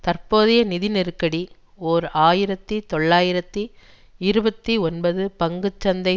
தற்போதைய நிதி நெருக்கடி ஓர் ஆயிரத்தி தொள்ளாயிரத்தி இருபத்தி ஒன்பது பங்கு சந்தை